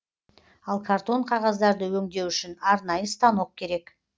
ал картон қағаздарды өңдеу үшін арнайы станок керек